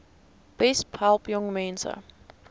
besp help jongmense